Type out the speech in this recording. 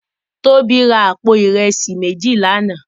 Tobi rá àpó irèsí méjí làná